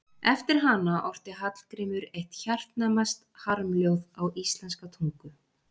Eftir hana orti Hallgrímur eitt hjartnæmast harmljóð á íslenska tungu.